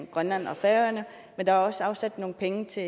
grønland og færøerne men der er også afsat nogle penge til